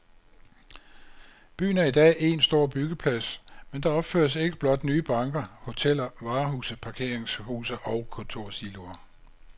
Byen er i dag én stor byggeplads, men der opføres ikke blot nye banker, hoteller, varehuse, parkeringshuse og kontorsiloer.